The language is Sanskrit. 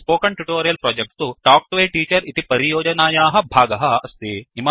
स्पोकन ट्युटोरियल प्रोजेक्ट तु तल्क् तो a टीचर इति परियोजनायाः भागः अस्ति